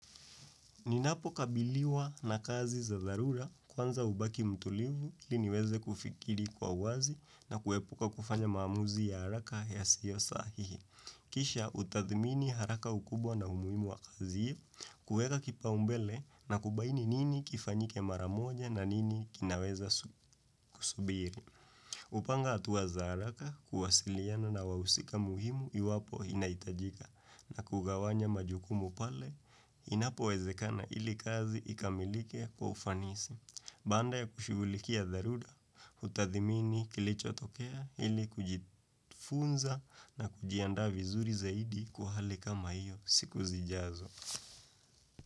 Ninapo kabiliwa na kazi za dharura kwanza hubaki mtulivu ili niweze kufikiri kwa uwazi na kuepuka kufanya maamuzi ya haraka yasiyo sahihi. Kisha utathmini haraka ukubwa na umuimu wa kazi hii, kueka kipaumbele na kubaini nini kifanyike mara moja na nini kinaweza kusubiri. Upanga atuwa za araka kuwasiliana na wawusika muhimu iwapo inaitajika na kugawanya majukumu pale inapowezekana ili kazi ikamilike kwa ufanisi. Banda ya kushughulikia dharuda, utadhimini kilichotokea ili kujifunza na kujianda vizuri zaidi kwa hali kama hiyo siku zijazo.